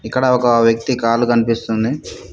ఇక్కడ ఒక వ్యక్తి కాళ్లు కనిపిస్తుంది.